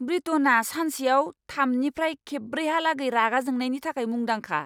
ब्रिटनआ सानसेयाव थामनिफ्राय ब्रैखेबहालागै रागा जोंनायनि थाखाय मुंदांखा!